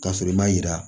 Ka sɔrɔ i ma yira